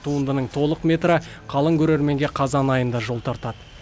туындының толық метрі қалың көрерменге қазан айында жол тартады